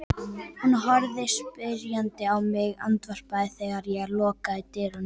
Hún horfir spyrjandi á mig, andvarpar þegar ég loka dyrunum.